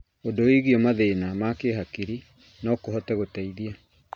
ũndũ wĩgiĩ mathĩna ma kĩhakiri no kũhote gũteithia